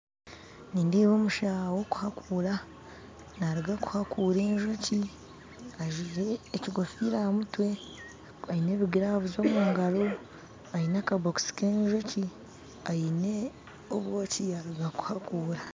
Nindeeba omusaawe wokuhakuura naruga kuhakuura enjoki ajwaire ekikofiira aha mutwe, aine ebi gloves omu ngaro, aine akabokisi ka enjoki, aine obwoki yaruga kuhakuura